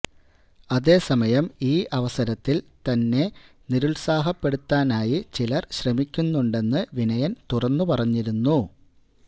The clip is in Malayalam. അതേസമയം ഈ അവസരത്തില് തന്നെ നിരുത്സാഹപ്പെടുത്താനായി ചിലര് ശ്രമിക്കുന്നുണ്ടെന്ന് വിനയന് തുറന്നുപറഞ്ഞിരുന്നു